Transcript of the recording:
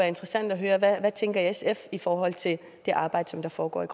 interessant at høre hvad tænker sf i forhold til det arbejde der foregår i